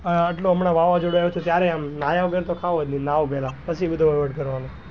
આટલું હમણાં વાવાજોડું આવ્યું હતું ત્યારે આમ નયા વગર તો ખાઉં જ ની નવું પેલા પછી બધો વહીવટ કરવાનો,